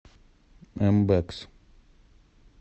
мбэкс